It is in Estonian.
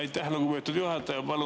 Aitäh, lugupeetud juhataja!